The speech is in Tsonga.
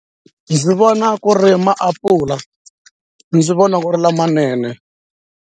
Ndzi vona ku ri maapula ndzi vona ku ri lamanene.